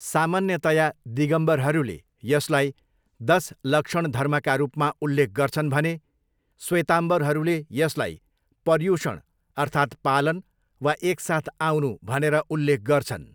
सामान्यतया, दिगम्बरहरूले यसलाई दस लक्षण धर्मका रूपमा उल्लेख गर्छन् भने श्वेतम्बरहरूले यसलाई पर्युषण अर्थात् 'पालन' वा 'एकसाथ आउनु' भनेर उल्लेख गर्छन्।